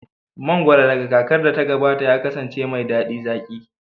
Mangoro daga kakar da ta gabata ya kasance mai daɗi zaƙi